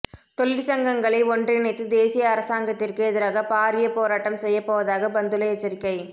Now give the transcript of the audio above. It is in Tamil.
தொழிற்சங்கங்களை ஒன்றிணைத்து தேசிய அரசாங்கத்திற்கு எதிராக பாரிய போராட்டம் செய்யப்போவதாக பந்துல எச்சரிக்கை